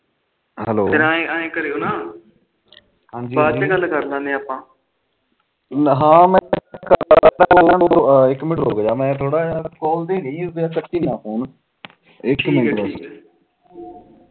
ਇੱਕ ਮਿੰਟ ਰੁਕਜਾ ਮੈ ਥੋੜਾ ਜਾ ਫੋਨ ਤੇ ਰਹੀ ਉਦਾ ਕੱਟੀ ਨਾ ਫੋਨ ਇੱਕ ਮਿੰਟ ਬਸ